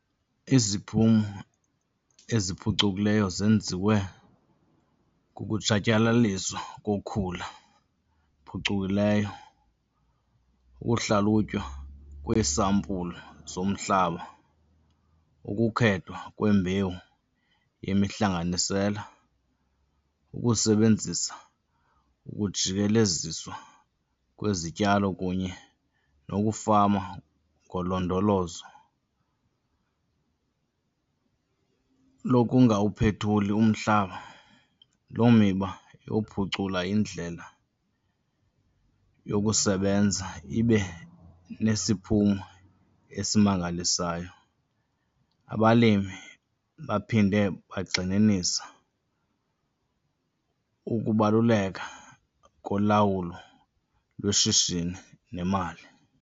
Iziphumo eziphucukileyo zenziwe kukutshatyalaliswa kokhula phucukileyo, ukuhlalutywa kweesampulu zomhlaba, ukukhethwa kwembewu yemihlanganisela, ukusebenzisa ukujikeleziswa kwezityalo kunye nokufama ngolondolozo lokungawuphethuli umhlaba. Loo miba yokuphucula indlela yokusebenza ibe nesiphumo esimangalisayo. Abalimi baphinde bagxininisa ukubaluleka kolawulo lweshishini nemali.